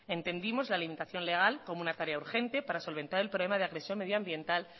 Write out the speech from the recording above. entendimos la limitación legal como una tarea urgente para solventar el problema de agresión medioambiental